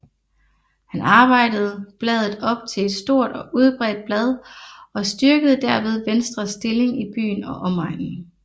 Han arbejdede bladet op til et stort og udbredt blad og styrkede derved Venstres stilling i byen og omegnen